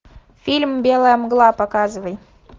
фильм белая мгла показывай